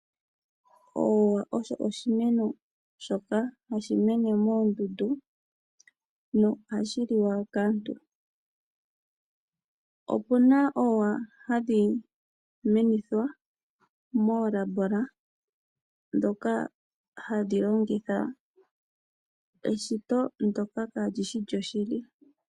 Oowa osho omino shoka hashi mene moondundu nohashi liwa kaantu. Opu na oowa hadhi menithwa moolabola ndhoka hadhi longitha eshito ndyoka kaa li shi lyoshili.